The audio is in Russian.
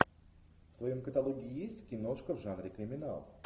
в твоем каталоге есть киношка в жанре криминал